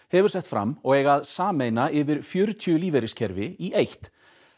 hefur sett fram og eiga að sameina yfir fjörutíu lífeyriskerfi í eitt